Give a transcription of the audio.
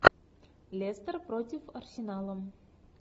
лестер против арсенала